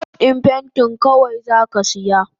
Burosh din pentin kawai zaka siya?